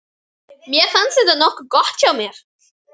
Mér fannst þetta nokkuð gott hjá mér.